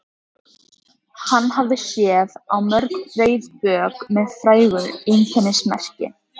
Hann hafði séð á mörg breið bök með frægu einkennismerki.